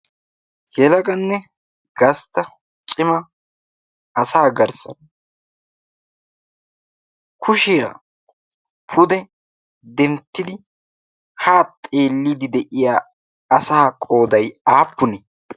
yelaganne gastta cimma asaa garssaan kushiyaan pude denttidi haa xeelidi de'iyaa asaa qooday aappunee?